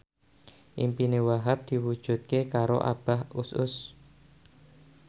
impine Wahhab diwujudke karo Abah Us Us